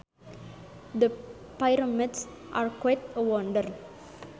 The Pyramids are quite a wonder